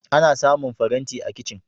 Ana samun faranti a kicin.